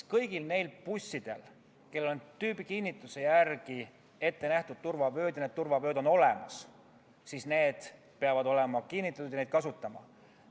Kõigil neil bussidel, millel on tüübikinnituse järgi ette nähtud turvavööd ja need turvavööd on olemas, peavad need olema kinnitatud ja neid peab kasutama.